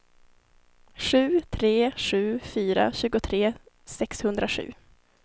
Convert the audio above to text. sju tre sju fyra tjugotre sexhundrasju